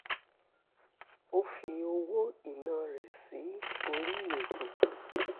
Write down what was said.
ó fi owó ìná rẹ̀ sí orí ètò